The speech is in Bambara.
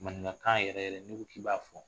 Maninkakan yɛrɛ yɛrɛ n'i ko k'i b'a fɔ